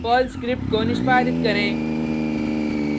Perl script को निष्पादित करें